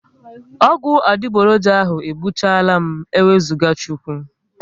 Ọgwụ adigboroja ahụ egbuchalam n'ewuzaga Chukwu